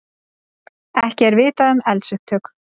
Ekki er vitað um eldsupptök